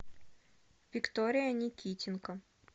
виктория никитенко